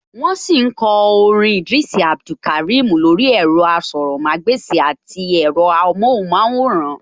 Wọ́n sì ń kọ orin Idris Abdulkarim lórí ẹ̀rọ-asọ̀rọ̀mágbèsì àti ẹ̀rọ-amọ́hùnmáwòrán